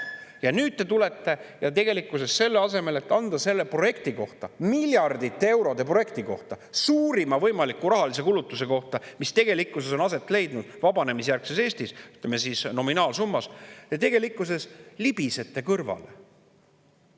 Ja nüüd te tegelikkuses selle asemel, et anda selle miljardite eurode projekti kohta, suurima võimaliku rahalise kulutuse kohta, mis on aset leidnud vabanemisjärgses Eestis, ütleme, nominaalsummas, te libisete neist kõrvale.